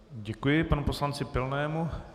Děkuji panu poslanci Pilnému.